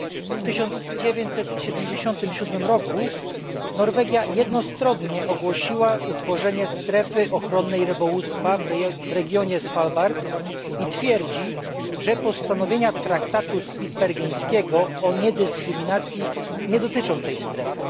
W 1977 roku Norwegia jednostronnie ogłosiła utworzenie strefy ochronnej rybołówstwa w regionie Svalbard i twierdzi, że postanowienia Traktatu Spitsbergeńskiego o niedyskryminacji nie dotyczą tej strefy.